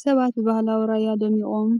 ሰባት ብባህሊ ራያ ደሚቖም